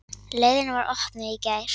Leiðin var opnuð í gær.